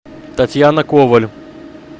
татьяна коваль